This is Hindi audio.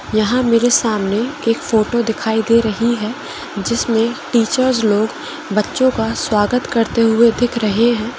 यहाँ मेरे सामने एक फोटो दिखाई दे रही है जिसमे टीचरस लोग बच्चों का स्वागत करते हुये दिख रहे हैं।